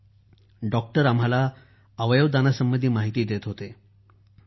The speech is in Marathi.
तेव्हा डॉक्टर आम्हाला अवयव दानासंबंधी माहिती देत होते